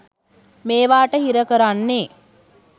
මේවාට හිර කරන්නේ